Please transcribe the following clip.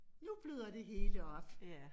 Nu bløder det hele op